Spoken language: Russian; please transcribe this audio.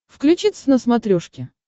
включи твз на смотрешке